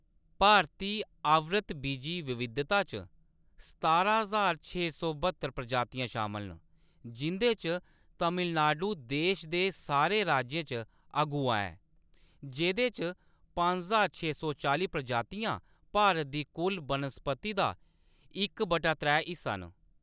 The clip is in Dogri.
भारती आवृतबीजी विविधता च सतारां ज्हार छे सौ ब्हत्तर प्रजातियां शामल न, जिं'दे च तमिलनाडु देश दे सारे राज्यें च अगुआ ऐ, जेह्‌‌‌दे च पंज ज्हार छे सौ चाली प्रजातियां भारत दी कुल बनस्पति दा इक वटा त्रै हिस्सा न।